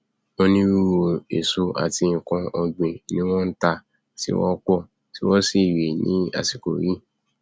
onírúirú èso àti nkan ọgbìn ni wọn nta tí wọn npọn tí wọn sì nrẹ ní àsìkò yìí